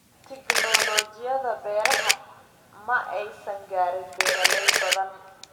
Tignoolajiyada beeraha ma aysan gaarin beeraley badan.